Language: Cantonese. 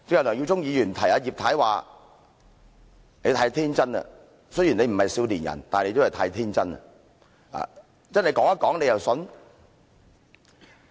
梁耀忠議員剛才提醒葉太，說她太天真了，雖然她不是少年人，但亦都太天真了。